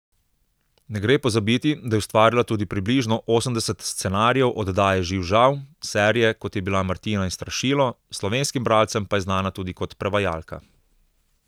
Ne gre pozabiti, da je ustvarila tudi približno osemdeset scenarijev oddaje Živ Žav, serije, kot je bila Martina in strašilo, slovenskim bralcem pa je znana tudi kot prevajalka.